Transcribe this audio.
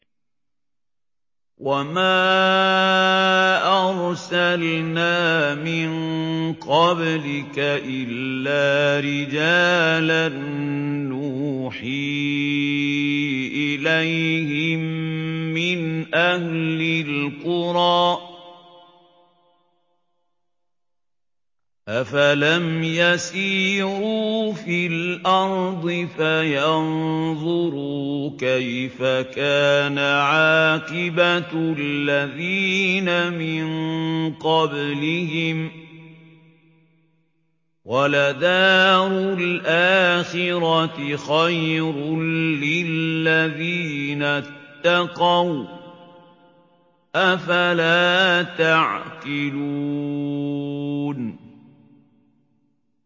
وَمَا أَرْسَلْنَا مِن قَبْلِكَ إِلَّا رِجَالًا نُّوحِي إِلَيْهِم مِّنْ أَهْلِ الْقُرَىٰ ۗ أَفَلَمْ يَسِيرُوا فِي الْأَرْضِ فَيَنظُرُوا كَيْفَ كَانَ عَاقِبَةُ الَّذِينَ مِن قَبْلِهِمْ ۗ وَلَدَارُ الْآخِرَةِ خَيْرٌ لِّلَّذِينَ اتَّقَوْا ۗ أَفَلَا تَعْقِلُونَ